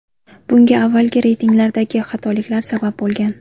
Bunga avvalgi reytinglardagi xatoliklar sabab bo‘lgan.